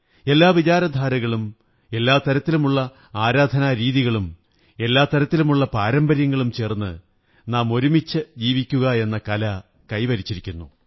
എല്ലാ വിചാരധാരകളും എല്ലാ തരത്തിലുമുള്ള ആരാധനാരീതികളും എല്ലാ തരത്തിലുമുള്ള പാരമ്പര്യങ്ങളും ചേര്ന്ന് നാം ഒരുമിച്ചു ജീവിക്കയെന്ന കല കൈവരിച്ചിരിക്കുന്നു